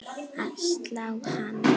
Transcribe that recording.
að slá hann.